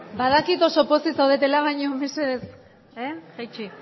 badakit oso pozik zaudetela baina mesedez jaitsi